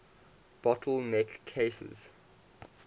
bottle neck cases